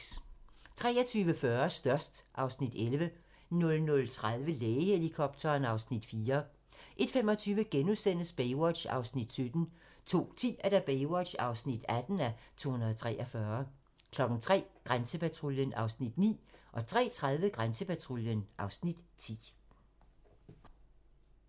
23:40: Størst (Afs. 11) 00:30: Lægehelikopteren (Afs. 4) 01:25: Baywatch (17:243)* 02:10: Baywatch (18:243) 03:00: Grænsepatruljen (Afs. 9) 03:30: Grænsepatruljen (Afs. 10)